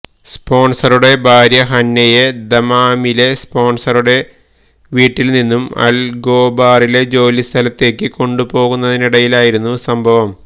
സ്പോൺസറുടെ ഭ്യാര്യ ഹന്നയെ ദമാമിലെസ്പോൺസറുടെ വീട്ടിൽ നിന്നും അൽഖോബാറിലെ ജോലി സ്ഥലത്തേക്ക് കൊണ്ടു പോവുന്നതിനിടയിലായിരുന്നു സംഭവം